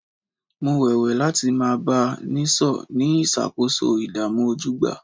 Mo wéwèé láti máa bá a nìṣó ní ṣíṣàkóso ìdààmú ojúgbà